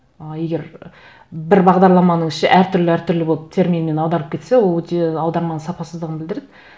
ы егер бір бағдарламаның іші әртүрлі әртүрлі болып терминмен аударып кетсе ол өте аударманың сапасыздығын білдіреді